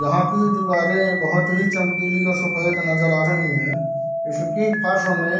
यहाँ की दीवारें बहुत हीं चमकीली और सफ़ेद नज़र आ रही हैं इसकी फर्श में --